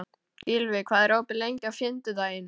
Gylfi, hvað er opið lengi á fimmtudaginn?